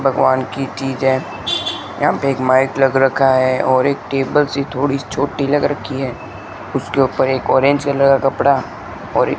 भगवान की चीज है। यहां पे एक माइक लग रखा है और एक टेबल सी थोड़ी छोटी लगा रखी है उसके ऊपर एक ऑरेंज कलर का कपड़ा और एक --